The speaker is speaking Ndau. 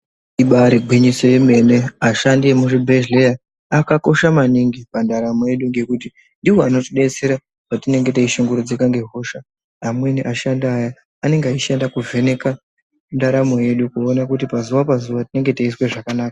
Ibaari gwinyiso remene ashandi emuzvibhehleya akakosha maningi pandaramo yedu ngekuti ndiwo anotidetsera patinenge teishungurudzika ngehosha amweni ashandi aya anenge aishanda kuvheneka ndaramo yedu kuona kuti pazuwa-pazuwa tinenge teizwe zvakanaka.